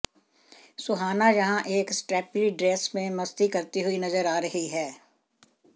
सुहाना यहां एक strappy dress में मस्ती करती हुई नजर आ रही हैं